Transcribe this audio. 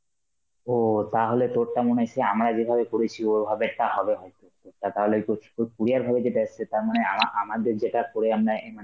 ও তাহলে তোরটা মনে হয় সেই আমরা যেইভাবে করেছি ও ভাবেরটা হবে হয়তো, তোরটা তাহলে কুছ কু~ courier ভাবে যেটা এসেছে তার মানে আমা~ আমাদের যেটা করে আমরা অ্যাঁ মানে